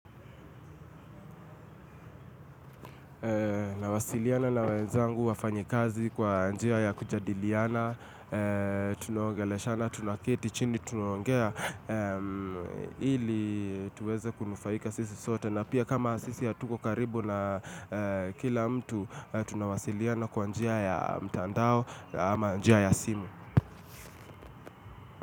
Na wasiliana na wenzangu wafanyikazi kwa njia ya kujadiliana, tunaongelesha na tunaketi chini, tunaongea ili tuweze kunufaika sisi sote na pia kama sisi hatuko karibu na kila mtu, tuna wasiliana kwa njia ya mtandao ama njia ya simu.